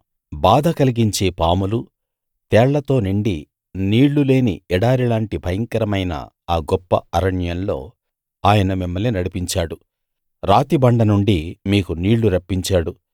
బాధ కలిగించే పాములు తేళ్లతో నిండి నీళ్ళు లేని ఎడారిలాంటి భయంకరమైన ఆ గొప్ప అరణ్యంలో ఆయన మిమ్మల్ని నడిపించాడు రాతిబండ నుండి మీకు నీళ్లు రప్పించాడు